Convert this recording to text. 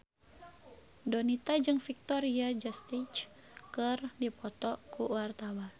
Donita jeung Victoria Justice keur dipoto ku wartawan